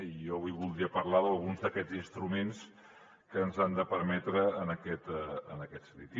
i jo avui voldria parlar d’alguns d’aquests instruments que ens ho han de permetre en aquest sentit